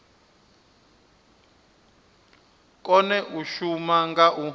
kone u shuma nga u